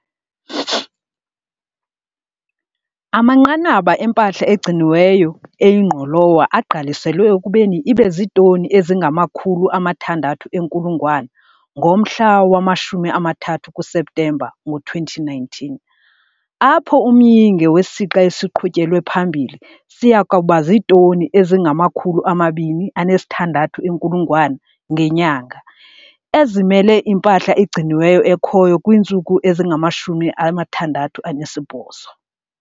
Amanqanaba empahla egciniweyo eyingqolowa agqaliselwe ekubeni ibe ziitoni ezingama-600 0000 ngomhla wama-30 kuSeptemba ngo-2019, apho umyinge wesixa esiqhutyelwe phambili siya kuba ziitoni ezingama-260 000 ngenyanga, ezimele impahla egciniweyo ekhoyo kwiintsuku ezingama-68.